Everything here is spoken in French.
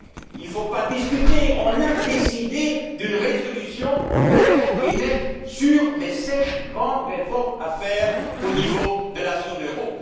Il ne faut pas discuter. Nous avons décidé d'une résolution claire et nette sur les sept grandes réformes à faire au niveau de la zone euro.